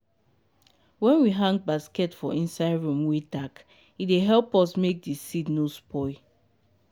wen we hang basket for inside room wey dark e dey help make di seed nor spoil.